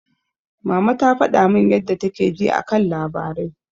Mama ta faɗa min yadda take ji a kan labarai.